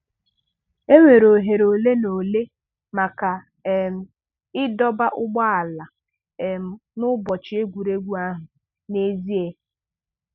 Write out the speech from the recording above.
E nwere ohere olenaole maka um ịdọba ụgbọala um n'ụbọchị egwuregwu ahụ n'ezie.